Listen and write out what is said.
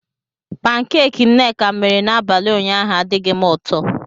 Pankeeki nneka mere n'abalị ụnyaahụ adighị m ụtọ.